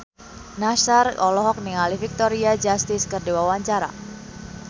Nassar olohok ningali Victoria Justice keur diwawancara